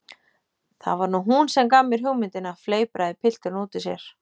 Það var nú hún sem gaf mér hugmyndina- fleipraði pilturinn út úr sér.